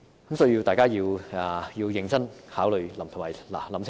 因此，大家必須認真考慮及思考清楚。